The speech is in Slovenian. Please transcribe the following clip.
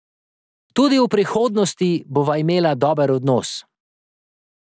Tudi v prihodnosti bova imela dober odnos.